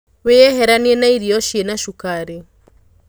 Wĩyeheranie na irio cina cukari.